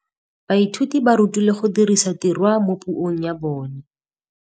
Baithuti ba rutilwe go dirisa tirwa mo puong ya bone.